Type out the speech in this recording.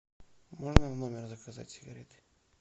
можно в номер заказать сигареты